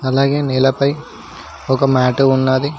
అలాగే నేలపై ఒక మ్యాట్ ఉన్నది.